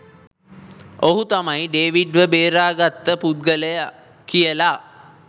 ඔහු තමයි ඩේවිඩ් ව බේරගත්ත පුද්ගලයා කියලා